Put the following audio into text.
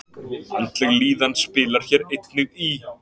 Andleg líðan spilar hér einnig inn í.